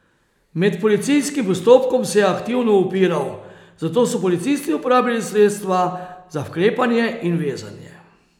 Med policijskim postopkom se je aktivno upiral, zato so policisti uporabili sredstva za vklepanje in vezanje.